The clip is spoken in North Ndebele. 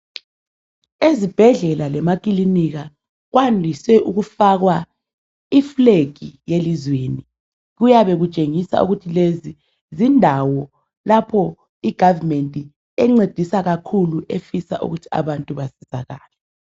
Ezibhedlela lemakilinika kwandise ukufakwa iFlag yelizweni kuyabe kutshengisa ukuthi lezi zindawo lapho I government encedisa kakhulu efisa ukuthi abantu basizakale.